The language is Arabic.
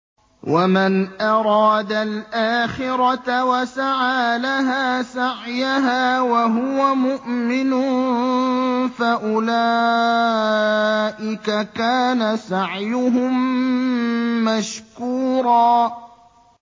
وَمَنْ أَرَادَ الْآخِرَةَ وَسَعَىٰ لَهَا سَعْيَهَا وَهُوَ مُؤْمِنٌ فَأُولَٰئِكَ كَانَ سَعْيُهُم مَّشْكُورًا